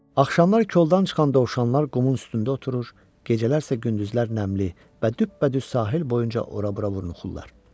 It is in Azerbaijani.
Axşamlar koldan çıxan dovşanlar qumun üstündə oturur, gecələr isə gündüzlər nəmli və düpbədüz sahil boyunca ora-bura vurnuxurlar.